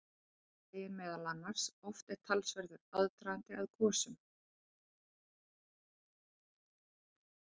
Þar segir meðal annars: Oft er talsverður aðdragandi að gosum.